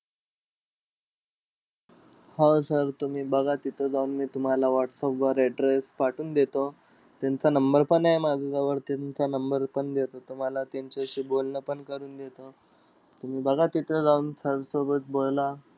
हो sir तुम्ही बघा तिथं जाऊन. मी तुम्हाला whatsapp वर address पाठवून देतो. त्यांचा number पण आहे माझ्याजवळ. त्यांचा number पण देतो तुम्हाला. त्यांच्याशी बोलणं पण करून देतो. तुम्ही बघा तिथं जाऊन sir सोबत बोला.